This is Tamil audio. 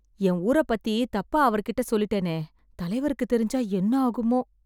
என் ஊர பத்தி தப்பா அவர் கிட்ட சொல்லிட்டேனே, தலைவருக்குத் தெரிஞ்சா என்னாகுமோ ?